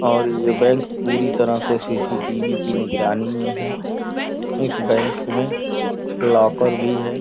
और ये बैंक पूरी तरह से सी_सी_टी_वी की निगरानी में है इस बैंक में लॉकर भी है।